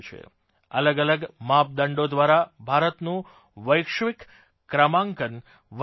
અલગ અલગ માપદંડો દ્વારા ભારતનું વૈશ્વિક ક્રમાંકનરેન્કીંગ વધ્યું છે